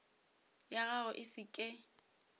ya gago e se ke